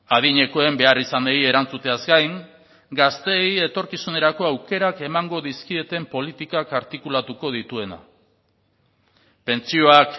adinekoen beharrizanei erantzuteaz gain gazteei etorkizunerako aukerak emango dizkieten politikak artikulatuko dituena pentsioak